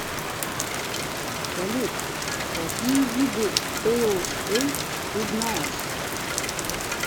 салют какие виды пэйл эль ты знаешь